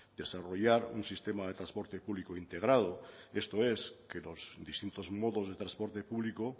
desarrollar un sistema de transporte público integrado esto es que los distintos modos de transporte público